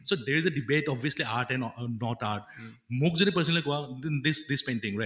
so there is a debate obviously art and uh not art um মোক যদি personally কোৱা this this painting right